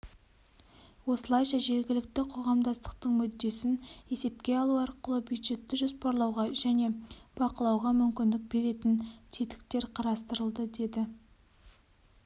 осылайша жергілікті қоғамдастықтың мүддесін есепке алу арқылы бюджетті жоспарлауға және бақылауға мүмкіндік беретін тетіктер қарастырылды деді